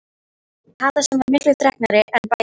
Kata sem var miklu þreknari en bæði